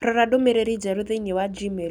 Rora ndũmĩrĩri njerũ thĩinĩ wa Gmail